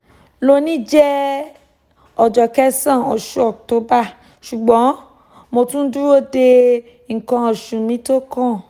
loni jẹ ọjọ kesan osu oct ṣugbọn mo tun n duro de nǹkan osu mi tókàn